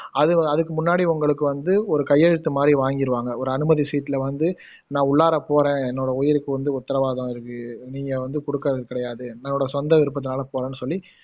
அது அதுக்கு முன்னாடி உங்களுக்கு வந்து ஒரு கையெழுத்து மாதிரி வாங்கிருவாங்க ஒரு அனுமதி சீட்டுல வந்து நான் உள்ளார போறேன் என்னோட உயிருக்கு வந்து உத்திரவாதம் இருக்கு நீங்க வந்து குடுக்காதது கிடையாது என்னோட சொந்த விருப்பத்துனால போறேன்னு சொல்லி